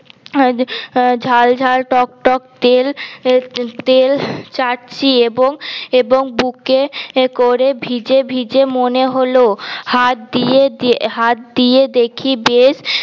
ঝাল ঝাল টক টক তেল তেল চাটছি এবং এবং বুকে করে ভিজে ভিজে মনে হল হাত দিয়ে দে হাত দিয়ে দেখি বেশ